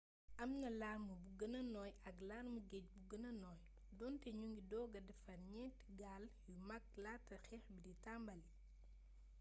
am na larme bu gëna nooy ak larmee geej bu gëna nooy doonte ñu ngi dooga defar ñeenti gaal yu mag laata xeex b d tàmbalii